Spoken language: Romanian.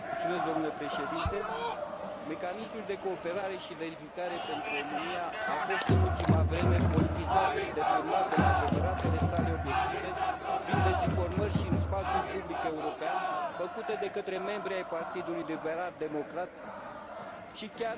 Mecanismul de cooperare și verificare pentru România a fost, în ultima vreme, politizat și deturnat de la adevăratele sale obiective, prin dezinformări și în spațiul public european, făcute de către membri ai Partidului Liberal Democrat și chiar de către Președintele României.